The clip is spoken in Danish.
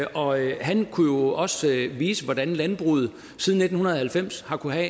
og han kunne jo også vise hvordan landbruget siden nitten halvfems har kunnet